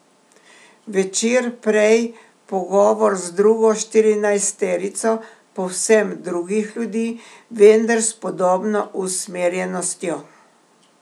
Večer prej pogovor z drugo štirinajsterico povsem drugih ljudi, vendar s podobno usmerjenostjo.